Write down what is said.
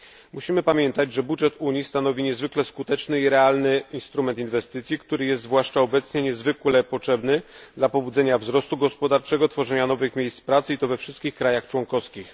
Musimy pamiętać, że budżet Unii stanowi niezwykle skuteczny i realny instrument inwestycji, który jest, zwłaszcza obecnie, niezwykle potrzebny dla pobudzenia wzrostu gospodarczego, tworzenia nowych miejsc pracy i to we wszystkich krajach członkowskich.